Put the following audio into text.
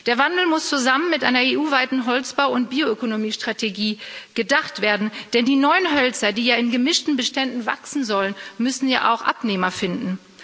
Der Wandel muss zusammen mit einer EU weiten Holzbau und Bioökonomiestrategie gedacht werden, denn die neuen Hölzer, die ja in gemischten Beständen wachsen sollen, müssen ja auch Abnehmer finden.